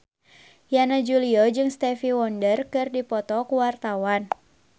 Yana Julio jeung Stevie Wonder keur dipoto ku wartawan